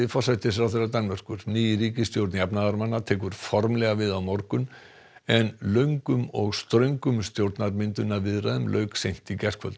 forsætisráðherra Danmerkur ný ríkisstjórn jafnaðarmanna tekur formlega við á morgun en löngum og ströngum stjórnarmyndunarviðræðum lauk seint í gærkvöld